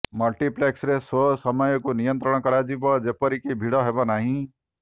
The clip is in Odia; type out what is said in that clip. ମଲ୍ଟିପ୍ଲେକ୍ସରେ ସୋ ସମୟକୁ ନିୟନ୍ତ୍ରଣ କରାଯିବ ଯେପରିକି ଭିଡ଼ ହେବନାହିଁ